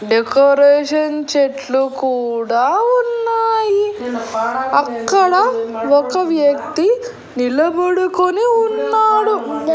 Decoration చెట్లు కూడా ఉన్నాయి అక్కడ ఒక వ్యక్తి నిలబడుకుని ఉన్నాడు.